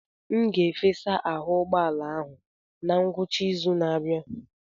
M ga-efesa ahụ ụgbọ ala ahụ na ngwụcha izu na-abịa.